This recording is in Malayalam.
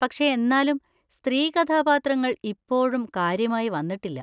പക്ഷെ എന്നാലും സ്ത്രീ കഥാപാത്രങ്ങൾ ഇപ്പോഴും കാര്യമായി വന്നിട്ടില്ല.